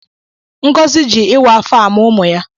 Ngọzi jị ịwa afọ amụ ụmụ ya.